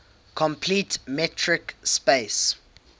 complete metric space